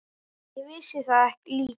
Ég vissi það líka.